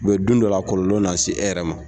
Mɛ don dɔ la, a kɔlɔlɔ na se e yɛrɛ ma.